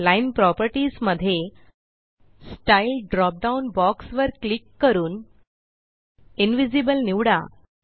line properties मध्ये styledrop down box वर click करून Invisibleनिवडा